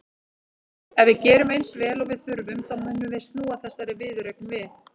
Ef við gerum eins vel og við þurfum þá munum við snúa þessari viðureign við.